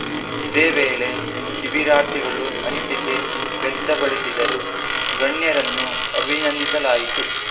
ಇದೇ ವೇಳೆ ಶಿಬಿರಾರ್ಥಿಗಳು ಅನಿಸಿಕೆ ವ್ಯಕ್ತಪಡಿಸಿದರು ಗಣ್ಯರನ್ನು ಅಭಿನಂದಿಸಲಾಯಿತು